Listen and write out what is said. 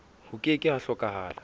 ho ke ke ha hlokahala